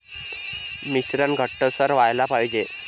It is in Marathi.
मिश्रण घट्टसर व्हायला पाहिजे.